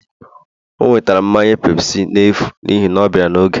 o nwetere mmanya pepsi n'efu n'ihi na ọ bịara n'oge